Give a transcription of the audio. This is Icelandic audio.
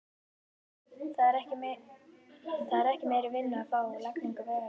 Það er ekki meiri vinnu að fá við lagningu vegarins.